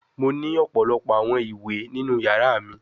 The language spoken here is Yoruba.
Mo ni ọpọlọpọ awọn iwe ninu yara mi